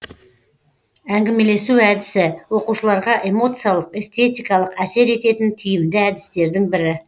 әңгімелесу әдісі оқушыларға эмоциялық эстетикалық әсер ететін тиімді әдістердің бірі